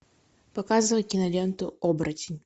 показывай киноленту оборотень